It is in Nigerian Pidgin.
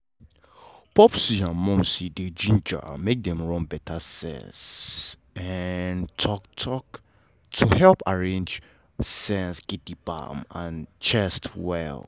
popsi and momsi dey gingered make dem run better sense um talk-talk to helep arrange sense um and chest well.